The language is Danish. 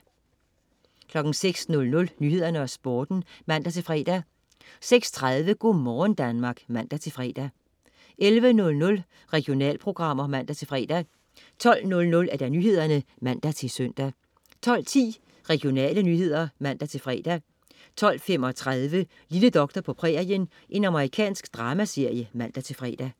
06.00 Nyhederne og Sporten (man-fre) 06.30 Go' morgen Danmark (man-fre) 11.00 Regionalprogrammer (man-fre) 12.00 Nyhederne (man-søn) 12.10 Regionale nyheder (man-fre) 12.35 Lille doktor på prærien. Amerikansk dramaserie (man-fre)